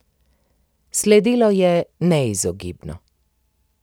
Sledilo je neizogibno.